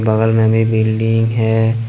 बगल में भी बिल्डिंग है।